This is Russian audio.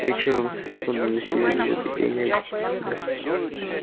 вечером с фермы доносились звуки пения и громкий смех